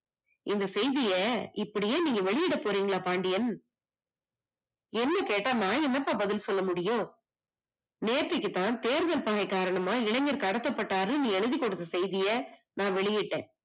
இந்த செய்திய இப்படியே நீங்க வெளியட போறிங்களா பாண்டியன்? என்ன கேட்ட நான் என்னப்பா பதில் சொல்ல முடியும் நேத்திக்குதான் தேர்தல் பணிய காரணமா இளைஞர் கடத்தப்பட்டாறுனு எழுதிகுடுத்த செய்திய நான் வெளியிட்டே